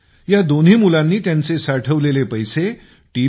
या दोन्ही मुलांनी त्यांचे साठवलेले पैसे टी